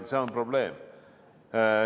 See on probleem.